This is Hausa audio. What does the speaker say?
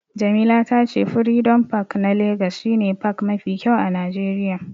Jamila ta ce furidom pak na legas shi ne pak mafi kyau a najeriya